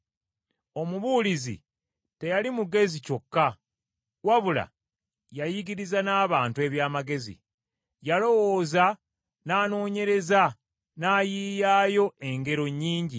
Omubuulizi teyali mugezi kyokka, wabula yayigiriza n’abantu eby’amagezi. Yalowooza n’anoonyereza n’ayiiyaayo engero nnyingi.